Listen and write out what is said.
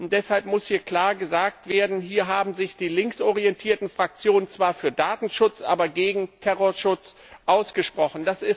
Deshalb muss hier klar gesagt werden Hier haben sich die links orientierten Fraktionen zwar für Datenschutz, aber gegen Terrorschutz ausgesprochen.